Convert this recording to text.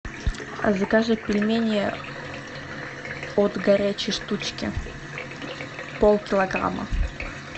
закажи пельмени от горячей штучки полкилограмма